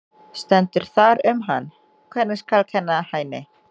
Stendur þar um hann: Hvernig skal kenna Hæni?